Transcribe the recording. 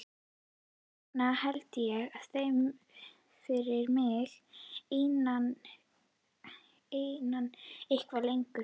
Þess vegna held ég þeim fyrir mig einan eitthvað lengur.